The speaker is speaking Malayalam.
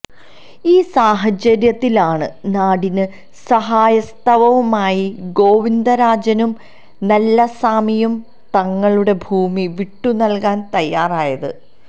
ഈ സാഹചര്യത്തിലാണ് നാടിന് സഹായഹസ്തവുമായി ഗോവിന്ദരാജനും നല്ലസാമിയും തങ്ങളുടെ ഭൂമി വിട്ടുനല്കാന് തയ്യാറായത്